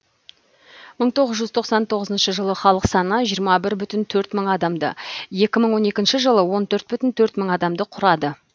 мың тоғыз жүз тоқсан тоғызыншы жылы халық саны жиырма бір бүтін төрт мың адамды екі мың он екінші жылы он төрт бүтін төрт мың адамды құрады